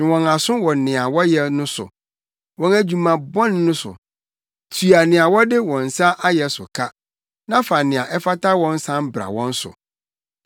Twe wɔn aso wɔ nea wɔayɛ no so; wɔn adwuma bɔne no so; tua nea wɔde wɔn nsa ayɛ so ka na fa nea ɛfata wɔn san bra wɔn so.